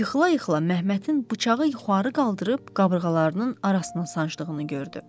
Yıxıla-yıxıla Məmmətin bıçağı yuxarı qaldırıb qabırğalarının arasına sancdığını gördü.